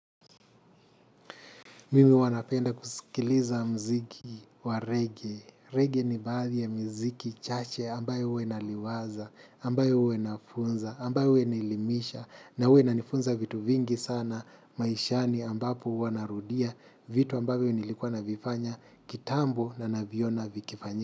Mimi huwanapenda kuskiliza mziki wa "reggae". "Reggae" ni baadhi ya mziki chache ambayo uwa naliwaza, ambayo uwa nafunza, ambayo uwa inaelimisha. Na uwa inanifunza vitu vingi sana maishani, ambapo wanarudia vitu ambayo nilikuwa navifanya kitambo na naviona vikifanyika.